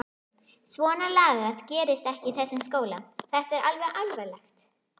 Svonalagað gerist ekki í þessum skóla, þetta er það alvarlegt!